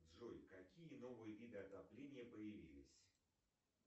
джой какие новые виды отопления появились